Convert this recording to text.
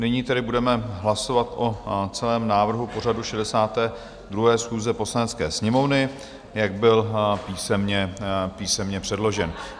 Nyní tedy budeme hlasovat o celém návrhu pořadu 62. schůze Poslanecké sněmovny, jak byl písemně předložen.